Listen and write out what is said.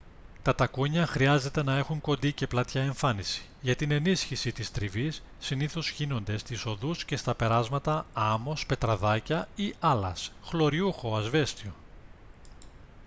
τα τακούνια χρειάζεται να έχουν κοντή και πλατιά εμφάνιση. για την ενίσχυση της τριβής συνήθως χύνονται στις οδούς και στα περάσματα άμμος πετραδάκια ή άλας χλωριούχο ασβέστιο